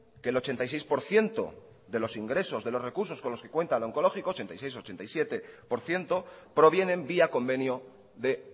que el ochenta y seis por ciento de los ingresos de los recursos con los que cuenta el onkologikoa ochenta y seis ochenta y siete por ciento provienen vía convenio de